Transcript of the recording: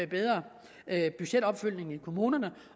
bedre budgetopfølgning i kommunerne